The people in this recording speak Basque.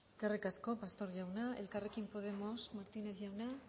eskerrik asko pastor jauna elkarrekin podemos martínez jauna